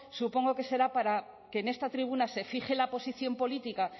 supongo que será para que en esta tribuna se fije la posición política